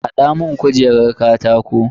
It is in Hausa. Hada mun kujerar katako.